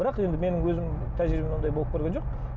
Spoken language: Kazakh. бірақ енді менің өзімнің тәжірибемде ондай болып көрген жоқ